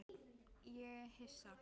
Ég er hissa.